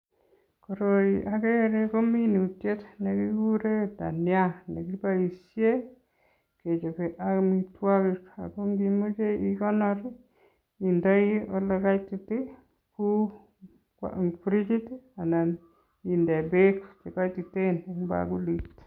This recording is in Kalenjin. Koroi akere ko minutiet nekikuren dania nekiboishen kechope amitwokik ak ko ng'imoche ikonor indoi olekaitit Kou frigit anan indee beek chekoititen en bakulit.